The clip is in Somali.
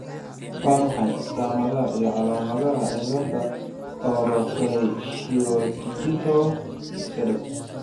Waa maxay astamaha iyo calaamadaha cilada Orofaciodigital sedex?